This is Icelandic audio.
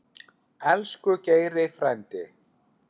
Elsku Geiri frændi.